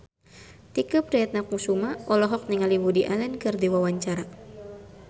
Tike Priatnakusuma olohok ningali Woody Allen keur diwawancara